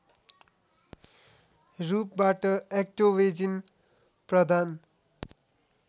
रूपबाट एक्टोवेजिन प्रदान